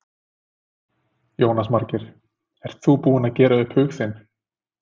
Jónas Margeir: Ert þú búinn að gera upp hug þinn?